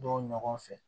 Don ɲɔgɔn fɛ